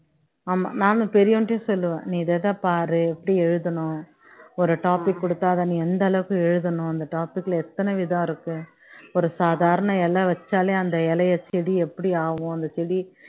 ஆமா நானும் பெரியவன்டயும் சொல்லுவேன் நீ இத இத பாரு எப்படி எழுதணும் ஒரு topic குடுத்தா அத நீ எந்த அளவுக்கு எழுதணும் அந்த topic ல எத்தன விதம் இருக்கு ஒரு சாதாரண இலை வச்சாலே அந்த இலையை செடி எப்படி ஆகும் அந்த செடி